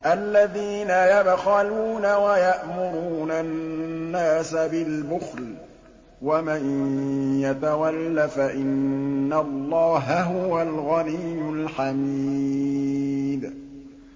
الَّذِينَ يَبْخَلُونَ وَيَأْمُرُونَ النَّاسَ بِالْبُخْلِ ۗ وَمَن يَتَوَلَّ فَإِنَّ اللَّهَ هُوَ الْغَنِيُّ الْحَمِيدُ